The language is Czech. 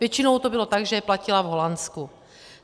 Většinou to bylo tak, že je platila v Holandsku.